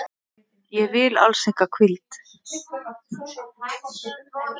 Ég vil alls enga hvíld.